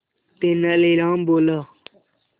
तेनालीराम बोला